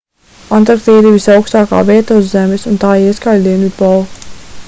antarktīda ir visaukstākā vieta uz zemes un tā ieskauj dienvidpolu